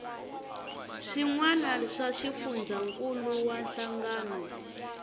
swiana wana swa xifundzankuluwa hlangano